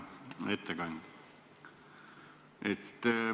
Hea ettekandja!